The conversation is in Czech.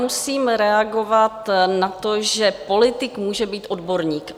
Musím reagovat na to, že politik může být odborník.